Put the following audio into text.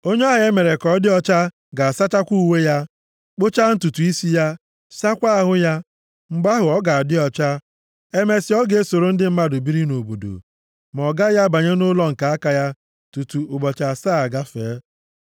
“Onye ahụ e mere ka ọ dị ọcha ga-asacha uwe ya, kpụchaa ntutu isi ya, saakwa ahụ ya. Mgbe ahụ, ọ ga-adị ọcha. Emesịa, ọ ga-esoro ndị mmadụ biri nʼobodo. Ma ọ gaghị abanye nʼụlọ nke aka ya tutu ụbọchị asaa agafee.